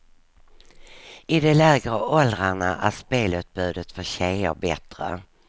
I de lägre åldrarna är spelutbudet för tjejer bättre.